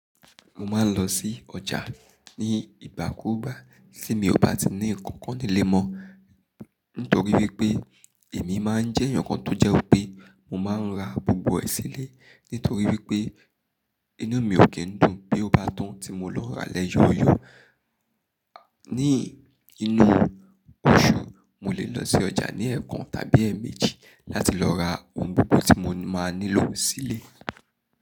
Mo máa ń lọ sí ọjà ní ìgbákuúgbà tí mi ò bá ti ní nnkan kan nílé mọ́, nítorí wípé èmi máa ń jẹ́ ǹkan tó jẹ́ pé mo máa ń ra gbogbo ẹ̀ sílé, nítorí wípé inú mi ò kí ń dùn bó bá tán tí mo lọ rà lẹ́yọ̀yọ̀. Ní inú oṣù, mo lè lọ sí ọjà ní ẹ̀ẹ̀kan tàbí ẹ́ẹ̀méjì láti lọ ra ohun gbogbo tí mo máa nílò sílé.